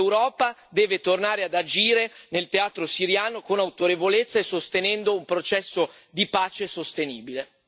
L'Europa deve tornare ad agire nel teatro siriano con autorevolezza e incoraggiando un processo di pace sostenibile.